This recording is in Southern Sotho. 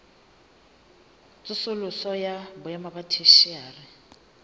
tsosoloso ya boemo ba theshiari